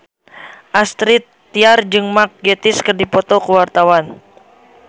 Astrid Tiar jeung Mark Gatiss keur dipoto ku wartawan